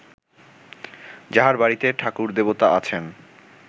যাঁহার বাড়ীতে ঠাকুরদেবতা আছেন